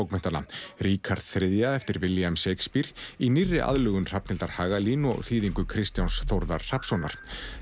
leikhúsbókmenntanna Ríkharð þriðja eftir William Shakespeare í nýrri aðlögun Hrafnhildar Hagalín og þýðingu Kristjáns Þórðar Hrafnssonar